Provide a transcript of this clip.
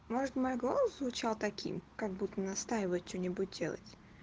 может мой голос звучал таким как будто настаивает что-нибудь делать